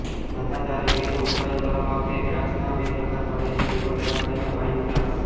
ધંધાદારી રીતે ઉત્પાદન કરવામાં આવતી દ્રાક્ષના બે પ્રકાર પડે છે ટેબલ દ્રાક્ષ અને વાઇન દ્રાક્ષ